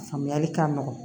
Faamuyali ka nɔgɔ